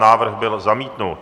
Návrh byl zamítnut.